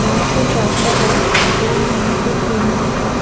यहां पे एक रास्ता है जो यहां से सीधा है।